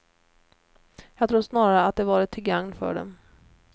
Jag tror snarare att de varit till gagn för dem.